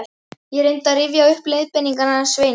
Ég reyndi að rifja upp leiðbeiningarnar hans Sveins